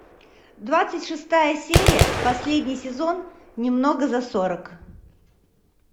двадцать шестая серия последний сезон немного за сорок